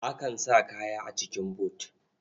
Akan sa kaya a cikin but.